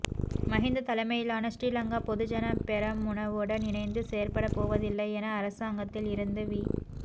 மஹிந்த தலைமையிலான ஸ்ரீலங்கா பொதுஜன பெரமுனவுடன் இணைந்து செயற்பட வோவதில்லை என அரசாங்கத்தில் இருந்து வி